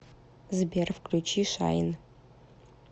сбер включи шайн